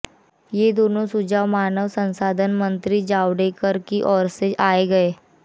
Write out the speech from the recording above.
ये दोनों सुझाव मानव संसाधन मंत्री प्रकाश जावड़ेकर की ओर से आए हैं